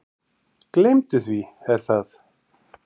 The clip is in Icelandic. Gleymdu því Er það?